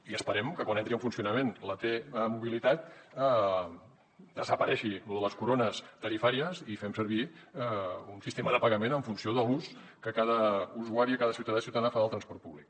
i esperem que quan entri en funcionament la t mobilitat desaparegui lo de les corones tarifàries i fem servir un sistema de pagament en funció de l’ús que cada usuari cada ciutadà i ciutadana fa del transport públic